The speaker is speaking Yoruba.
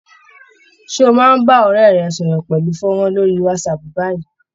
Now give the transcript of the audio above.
Ṣé ó máa bá ọ̀rẹ́ rẹ̀ sọ̀rọ̀ pẹ̀lú fónrán lórí Whatsapp báyìí?